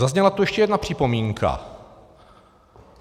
Zazněla tu ještě jedna připomínka.